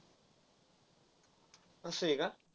अस आहे का.